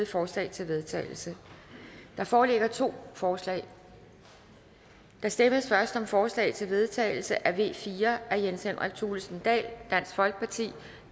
forslag til vedtagelse der foreligger to forslag der stemmes først om forslag til vedtagelse nummer v fire af jens henrik thulesen dahl